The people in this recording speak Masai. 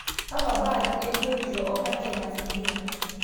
Kakwa baadhi ebiotisho o haki e masiha?